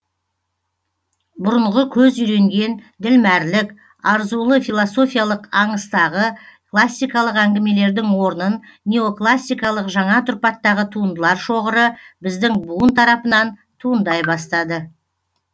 бұрынғы көз үйренген ділмәрлік арзулы философиялық аңыстағы классикалық әңгімелердің орнын неоклассикалық жаңа тұрпаттағы туындылар шоғыры біздің буын тарапынан туындай бастады